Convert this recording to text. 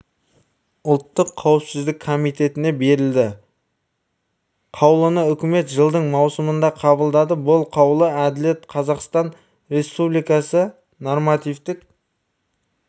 ұлттық қауіпсіздік комитетіне берілді қаулыны үкімет жылдың маусымында қабылдады бұл қаулы әділет қазақстан республикасы нормативтік